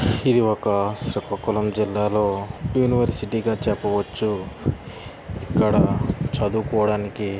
ఇది ఒక శ్రీకాకుళం జిల్లాలో యూనివర్సిటీ గ చెప్పవచ్చు ఇక్కడ చదువుకోవడానికి --